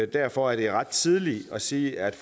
derfor er det ret tidligt at sige at